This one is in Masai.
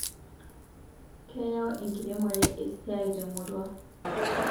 Keyau enkiremore esiai temurua